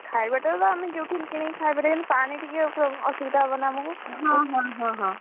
ଖାଇବା ଟା ତ ଆମେ ଯୋଉଠି କିଣିକି ଖାଇ ପାରିବା, ପାଣି ଟିକେ ଅସୁବିଧା ହବ ନା ଆମକୁ,